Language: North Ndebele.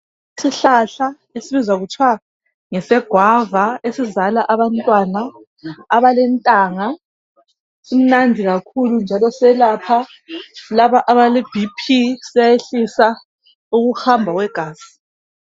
Isihlahla esibizwa kuthwa ngese Guava esizalala abantwana abelentanga simnandi kakhulu njalo selapha laba abale BP siyayehlisa ukuhamba kwegazi.